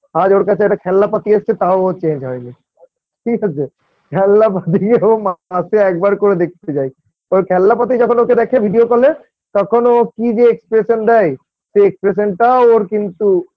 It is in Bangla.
আজ ওর কাছে একটা খেলনা পাতি এসছে তাও ও Change হয় নি ঠিক আছে খেলনাপাতি ও মাসে একবার করে দেখতে যায় ওর খেলনাপাতি যখন ওকে দেখে video call -এ তখন ও কি যে Expression দেয় সে expression -টাও ওর কিন্তু